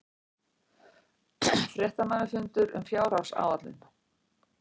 Fréttamannafundur um fjárhagsáætlun